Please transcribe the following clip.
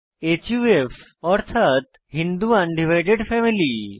হুফ অর্থাৎ Hindu undivided family